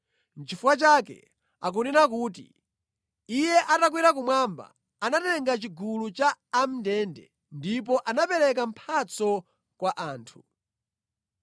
Nʼchifukwa chake akunena kuti, “Iye atakwera kumwamba, anatenga chigulu cha a mʼndende ndipo anapereka mphatso kwa anthu.”